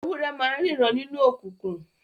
Ewúrẹ́ ma n ríran nínú okùnkùn